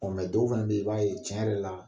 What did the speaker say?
dɔw fɛnɛ be ye, i b'a ye tiɲɛ yɛrɛ la